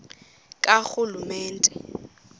karhulumente